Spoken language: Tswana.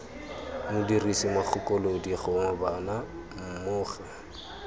modirisi mogakolodi gongwe bona mmogo